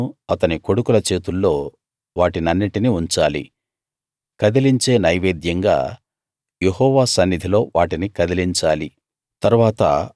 అహరోను అతని కొడుకుల చేతుల్లో వాటినన్నిటినీ ఉంచాలి కదలించే నైవేద్యంగా యెహోవా సన్నిధిలో వాటిని కదిలించాలి